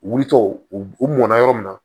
U wulitɔ u mɔna yɔrɔ min na